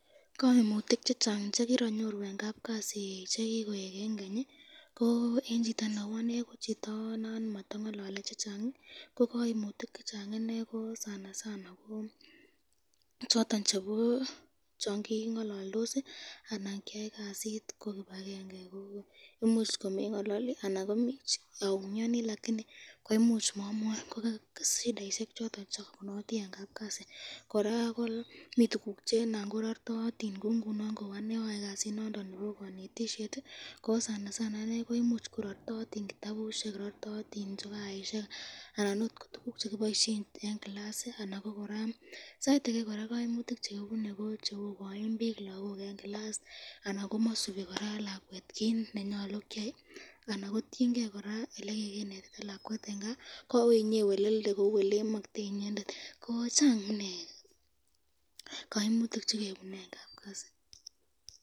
Kaimutik chechang chekianyiru eng kapkasi chekikoek eng Keny, ko choton chebo chekingalaldos, tukuk cherartoyotin kou kitabusyek eng mwalimuek